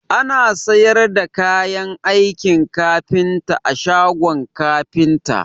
Ana sayar da kayan aikin kafinta a shagon kafinta